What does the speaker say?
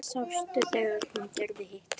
Sástu þegar hún gerði hitt?